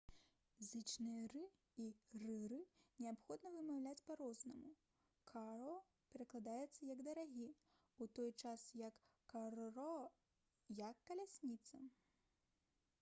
зычныя «r» і «rr» неабходна вымаўляць па-рознаму: «caro» перакладаецца як «дарагі» у той час як «carro» — гэта «калясніца»